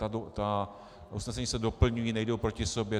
Ta usnesení se doplňují, nejdou proti sobě.